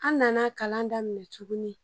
An nana kalan daminɛ tuguni